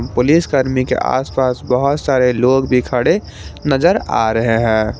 पुलिसकर्मी के आसपास बहुत सारे लोग भी खड़े नजर आ रहे हैं।